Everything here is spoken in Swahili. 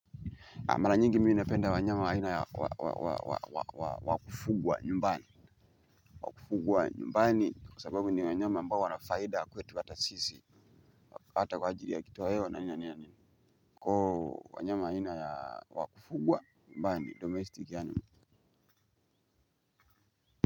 Mara nyingi mimi napenda wanyama wa aina ya wakufugwa nyumbani. Kufugwa nyumbani kwa sababu ni wanyama ambao wanafaida kwetu hata sisi hata kwa ajili ya kitu hewa na niya niya niya niya. Kwa hiyo wanyama wa aina ya wakufugwa nyumbani domestic animal.